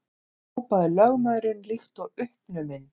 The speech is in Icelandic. hrópaði lögmaðurinn líkt og uppnuminn.